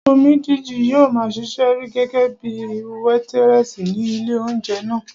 Omídìji yóò maa ṣiṣẹ́ gẹ́gẹ́bíi wétírẹ̀sì ní ilé óúnjẹ náà